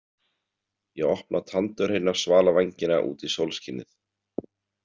Ég opna tandurhreina svalavængina út í sólskinið.